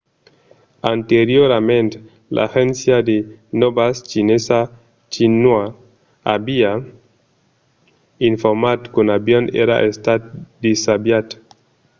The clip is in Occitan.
anteriorament l'agéncia de nòvas chinesa xinhua aviá informat qu'un avion èra estat desaviat